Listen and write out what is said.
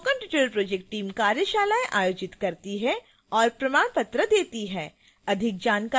spoken tutorial project team कार्यशालाएं आयोजित करती है और प्रमाण पत्र देती है